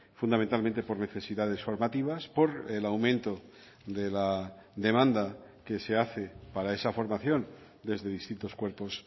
fundamentalmente por necesidades formativas por el aumento de la demanda que se hace para esa formación desde distintos cuerpos